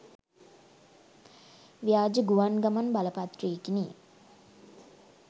ව්‍යාජ ගුවන් ගමන් බලපත්‍රයකිනි.